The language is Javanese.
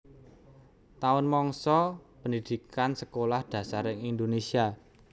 Taun mangsa pendhidhikan Sekolah Dasar ing Indonésia